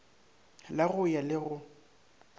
la go ya le go